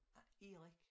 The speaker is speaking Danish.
Erik